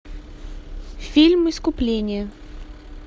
фильм искупление